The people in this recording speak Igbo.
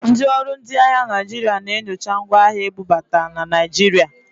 Ndị ọrụ ndị ahịa Naịjirịa na-enyocha ngwa ahịa ebubata na Naịjirịa.